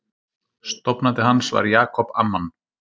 Stofnandi hans var Jacob Amman.